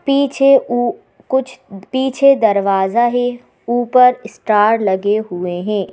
पीछे ऊ कुछ पीछे दरवाजा है ऊपर स्टार लगे हुए हैं।